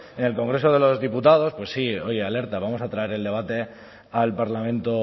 en el congreso de los diputados pues sí oye alerta vamos a traer el debate al parlamento